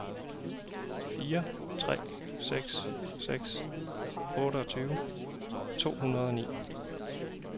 fire tre seks seks otteogtyve to hundrede og ni